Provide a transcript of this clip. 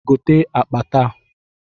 Gote akpa taa!